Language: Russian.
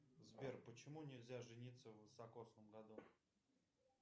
сбер почему нельзя жениться в високосном году